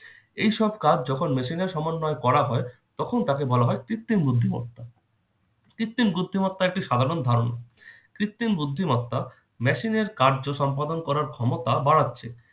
এই সব কাজ যখন machine এর সমন্বয় করা হয় তখন তাকে বলা হয় কৃত্রিম বুদ্ধিমত্তা। কৃত্রিম বুদ্ধিমত্তা একটি সাধারণ ধারণা। কৃত্রিম বুদ্ধিমত্তা machine এর কার্যসম্পাদন করার ক্ষমতা বাড়াচ্ছে।